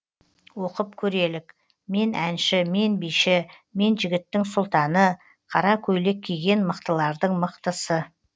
оқып көрелік мен әнші мен биші мен жігіттің сұлтаны қара көйлек киген мықтылардың мықтысы